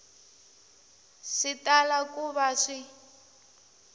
swi tala ku va swi